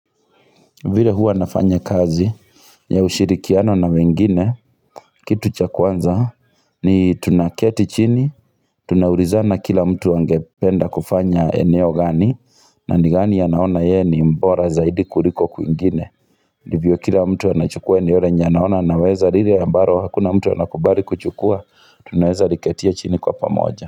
Vile huwa nafanya kazi ya ushirikiano na wengine, kitu cha kwanza, ni tunaketi chini, tunaurizana kila mtu angependa kufanya eneo gani, na ni gani ya naona ye ni mbora zaidi kuliko kuingine. Ndivyo kila mtu anachukua eneo lenye anaona anaweza lile ambaro, hakuna mtu anakubali kuchukua, tunaweza liketia chini kwa pamoja.